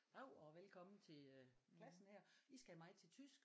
Dav og velkommen til øh klassen her I skal have mig til tysk